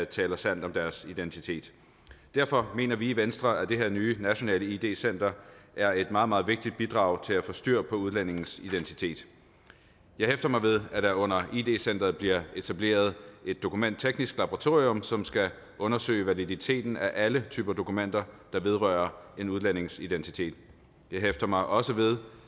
taler sandt om deres identitet derfor mener vi i venstre at det her nye center nationalt id center er et meget meget vigtigt bidrag til at få styr på udlændinges identitet jeg hæfter mig ved at der under id center bliver etableret et dokumentteknisk laboratorium som skal undersøge validiteten af alle typer dokumenter der vedrører en udlændings identitet jeg hæfter mig også ved